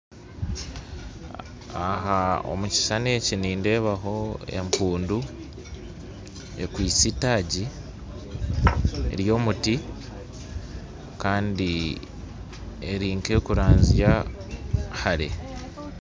Omukishushani nindeebaho empundu ekwatsire eitaagi ry'omuti kandi eri nk'erikuranzya hare.